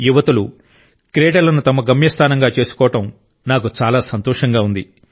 యువతులు క్రీడలను తమ గమ్యస్థానంగా చేసుకోవడం నాకు చాలా సంతోషంగా ఉంది